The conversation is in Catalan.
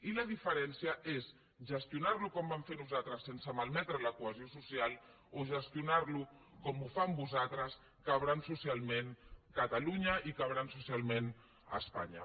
i la diferència és gestionar lo com vam fer nosaltres sense malmetre la cohesió social o gestionar lo com ho fan vostès trencant so cialment catalunya i trencant socialment espanya